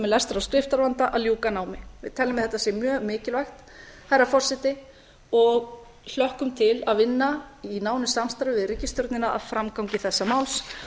lestrar og skriftarvanda að ljúka námi herra forseti við teljum að þetta sé mjög mikilvægt og hlökkum til að vinna í nánu samstarfi við ríkisstjórnina að framgangi þessa máls